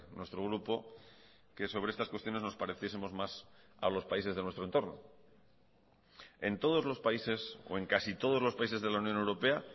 nuestro grupo que sobre estas cuestiones nos pareciesemos más a los países de nuestro entorno en todos los países o en casi todos los países de la unión europea